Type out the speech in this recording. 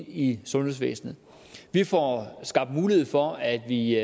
i sundhedsvæsenet vi får skabt mulighed for at vi